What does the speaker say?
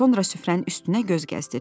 Sonra süfrənin üstünə göz gəzdirdi.